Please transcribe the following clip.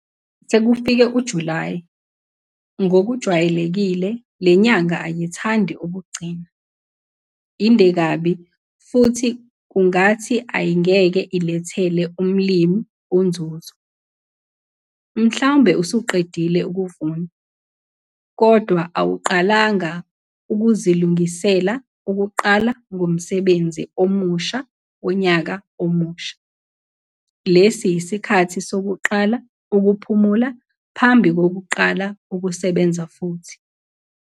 Sekufike uJulayi, ngokwejwayelekiIe le nyanga ayithandi ukugcina, inde kabi futhi kungathi ayingeke ilethele umlimi unzuzo. Mhlawumbe usuqedile ukuvuna, kodwa awuqalanga ukuzilungisela ukuqala ngomsebenzi omusha wonyaka omusha. Lesi yisikhathi sokuqala ukuphumula phambi kokuqala ukusebenza futhi.